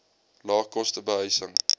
lae koste behuising